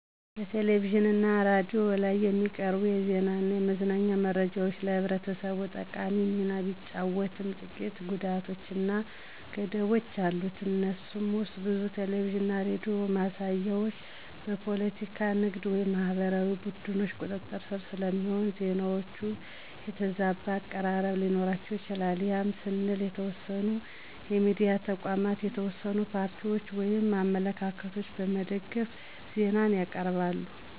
በቴሌቪዥን እና ሬዲዮ ላይ የሚቀርቡ የዜና እና የመዝናኛ መረጃዎች ለህብረተሰቡ ጠቃሚ ሚና ቢጫወትም ጥቂት ጉዳቶች እና ገደቦች አሉት። ከነሱም ውስጥ ብዙ ቴሌቪዥን እና ሬዲዮ ማሳያዎች በፖለቲካ፣ ንግድ ወይም ሃይማኖታዊ ቡድኖች ቁጥጥር ስር ስለሚሆኑ፣ ዜናዎቹ የተዛባ አቀራረብ ሊኖራቸው ይችላል ያም ስንል የተወሰኑ የሚዲያ ተቋማት የተወሰኑ ፓርቲዎችን ወይም አመለካከቶችን በመደገፍ ዜናን ያቅርባሉ።